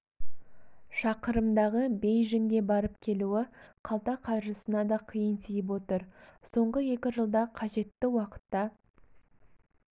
шақырымдағы бейжіңге барып келуі қалта қаржысына да қиын тиіп отыр соңғы екі жылда қажетті уақытта